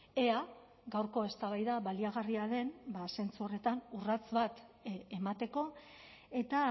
ea gaurko eztabaida baliagarria den zentzu horretan urrats bat emateko eta